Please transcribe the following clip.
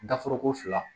Daforoko fila